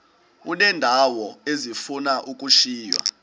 uneendawo ezifuna ukushiywa